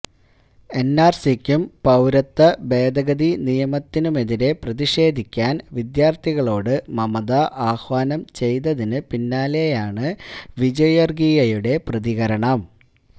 എന്ആര്സിക്കും പൌരത്വ ഭേദഗതി നിയമത്തിനുമെതിരെ പ്രതിഷേധിക്കാന് വിദ്യാര്ത്ഥികളോട് മമത ആഹ്വാനം ചെയ്തതിനു പിന്നാലെയാണ് വിജയ്വര്ഗീയയുടെ പ്രതികരണം